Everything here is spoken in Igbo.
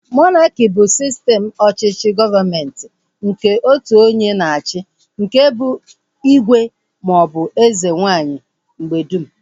Monaki bụ sistem ọchịchị gọọmenti nke otu onye na-achị nke bụ igwe maọbụ eze nwaanyị mgbedum